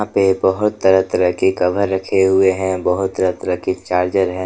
पे बहुत तरह तरह की कवर रखे हुए हैं बहुत तरह तरह के चार्जर है।